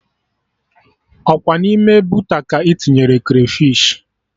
Ọkwa n'ime boota ka ị tinyere krafish